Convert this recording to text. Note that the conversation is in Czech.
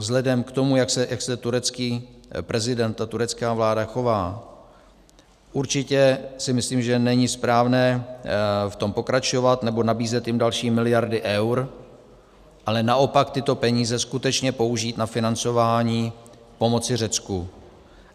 Vzhledem k tomu, jak se turecký prezident a turecká vláda chovají, určitě si myslím, že není správné v tom pokračovat nebo nabízet jim další miliardy eur, ale naopak tyto peníze skutečně použít na financování pomoci Řecku.